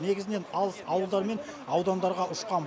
негізінен алыс ауылдар мен аудандарға ұшқан